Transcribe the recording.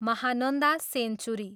Mahananda century.